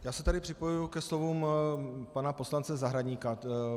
Já se tady připojuji ke slovům pana poslance Zahradníka.